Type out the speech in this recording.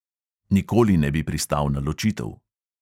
Nikoli ne bi pristal na ločitev.